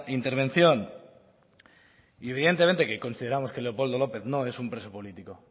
intervención y evidentemente que consideramos que leopoldo lópez no es un preso político